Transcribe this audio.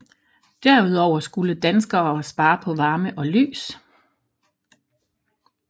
Derudover skulle danskere spare på varme og lys